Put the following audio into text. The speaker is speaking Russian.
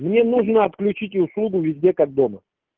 мне нужно отключить услугу везде как дома